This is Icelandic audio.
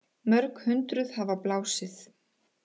Mörg hundruð hafa blásið